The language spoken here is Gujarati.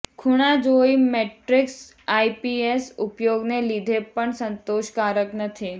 ખૂણા જોઈ મેટ્રિક્સ આઇપીએસ ઉપયોગને લીધે પણ સંતોષકારક નથી